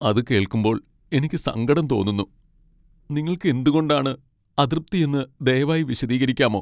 അത് കേൾക്കുമ്പോൾ എനിക്ക് സങ്കടം തോന്നുന്നു. നിങ്ങൾക്ക് എന്തുകൊണ്ടാണ് അതൃപ്തി എന്ന് ദയവായി വിശദീകരിക്കാമോ?